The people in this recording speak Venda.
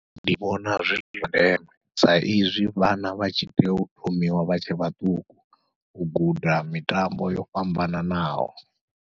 Ndi vhona zwi zwa ndeme, sa izwi vhana vha tshi tea u thomiwa vha tshe vhaṱuku u guda mitambo yo fhambananaho.